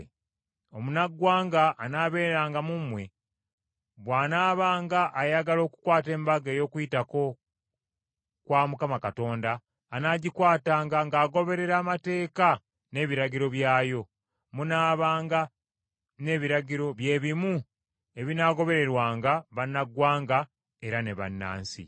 “ ‘Omunnaggwanga anaabeeranga mu mmwe bw’anaabanga ayagala okukwata Embaga ey’Okuyitako kwa Mukama Katonda anaagikwatanga ng’agoberera amateeka n’ebiragiro byayo. Munaabanga n’ebiragiro byebimu ebinaagobererwanga bannaggwanga era ne bannansi.’ ”